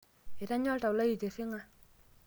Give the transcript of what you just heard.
etanya oltau lai itirriga